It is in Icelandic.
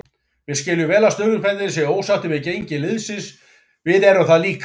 Við skiljum vel að stuðningsmennirnir séu ósáttir við gengi liðsins, við eru það líka.